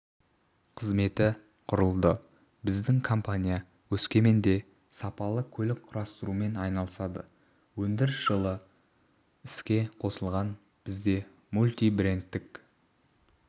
қызметі құрылды біздің компания өскеменде сапалы көлік құрастырумен айналысады өндіріс жылы іске қосылған бізде мультибрендтік